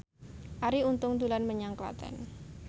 Arie Untung dolan menyang Klaten